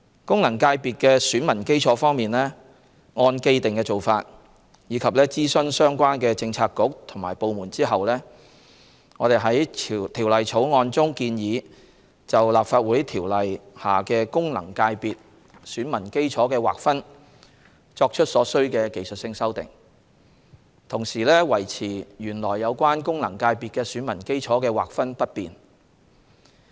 功能界別的選民基礎方面，按既定做法，以及諮詢相關政策局/部門後，我們在《條例草案》中建議就《立法會條例》下功能界別選民基礎的劃分作出所需的技術性修訂，同時維持原來有關功能界別選民基礎的劃分不變。